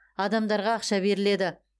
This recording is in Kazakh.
адамдарға ақша беріледі